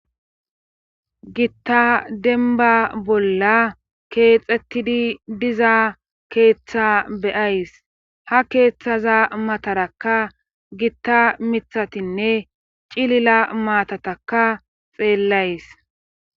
gitta denba bolla keexettidi diza keeththa be'ays ha keeththaza matarakka gitta mithatinne cilila maatataka xeellays